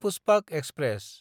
Pushpak express